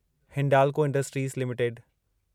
Hindalco Industries limited